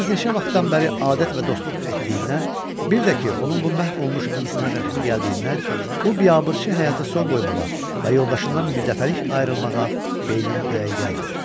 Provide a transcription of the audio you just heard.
Yalnız neçə vaxtdan bəri adət və dostluq etdiyindən, bir də ki, onun bu məhv olmuş insana rəhmi gəldiyindən, bu biabırçı həyata son qoymağa və yoldaşından bir dəfəlik ayrılmağa B-nin ürəyi gəlmir.